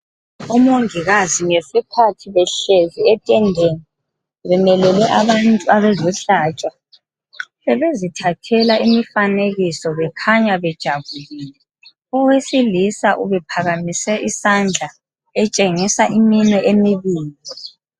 Omongikazi ngesikhathi behlezi etendeni bemelele abantu abazihlatshwa bebezithathela imifanekiso bekhanya bejabulile, owesilisa ubephakamise isandla etshengisa iminwe emibili.